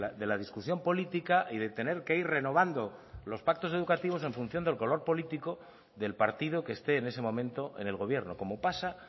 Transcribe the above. de la discusión política y de tener que ir renovando los pactos educativos en función del color político del partido que esté en ese momento en el gobierno como pasa